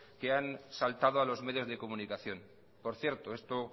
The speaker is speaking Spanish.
que han saltado a los medios de comunicación por cierto esto